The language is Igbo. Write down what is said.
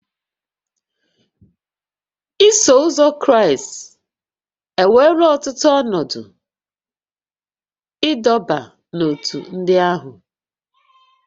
Iso Ụzọ Kraịst ewerela ọtụtụ ọnọdụ ịdọba n'ótú ndị ahụ